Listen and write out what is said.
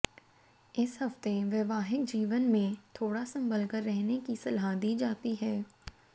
इस हफ्ते वैवाहिक जीवन मैं थोड़ा संभलकर रहने की सलाह दी जाती है